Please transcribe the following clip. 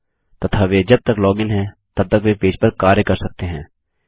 तथा वे जब तक लॉगिन हैं तब तक वे पेज पर कार्य कर सकते हैं